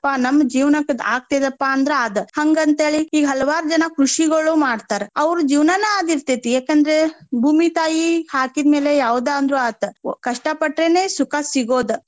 ನಮ್ಮ ಜೀವನಕ್ ಅದ ಆಗ್ತೆತಿ ಅಪ್ಪಾ ಅಂದ್ರ ಆದ್ . ಹಂಗ ಅಂತ ಹೇಳಿ ಈಗ ಹಲವಾರ್ ಜನ ಕೃಷಿಗೋಳು ಮಾಡ್ತಾರ. ಅವ್ರ ಜೀವನಾನ ಆದ ಇರ್ತೆತಿ. ಯಾಕ್ ಅಂದ್ರ ಭೂಮಿ ತಾಯಿ ಹಾಕಿದ್ಮೇಲೆ ಯಾವ್ದ ಅಂದ್ರು ಆತ ಕಷ್ಟ ಪಟ್ರೆನೆ ಸುಖ ಸಿಗೋದ.